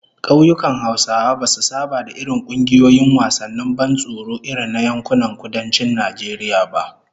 Kauyukan Hausawa basu saba da irin kungiyoyin wasannin ban tsoro irin na yankunan Kudancin Najeriya ba